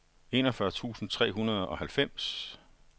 enogfyrre tusind tre hundrede og halvfems